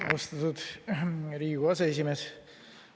Austatud Riigikogu aseesimees!